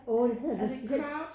Orh det hedder lidt specielt